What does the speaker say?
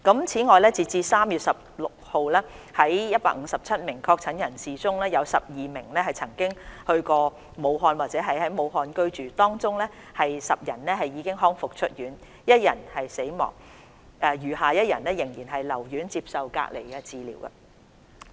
此外，截至3月16日，在157名確診人士中，有12名曾到過武漢或在武漢居住，當中10人已康復出院 ，1 人死亡，餘下1人仍然留院接受隔離治療。